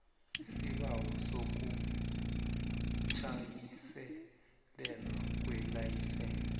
isibawo sokujanyiselelwa kwelayisense